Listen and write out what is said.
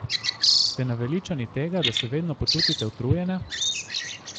Ste naveličani tega, da se vedno počutite utrujene?